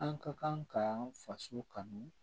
An ka kan ka faso kanu